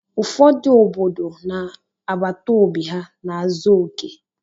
Ụfọdụ obodo na àgbàtà óbị ha n'azọ oke.